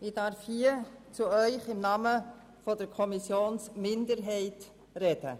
Ich darf hier im Namen der Kommissionsminderheit zu Ihnen sprechen.